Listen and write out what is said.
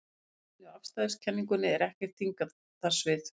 Í almennu afstæðiskenningunni er ekkert þyngdarsvið.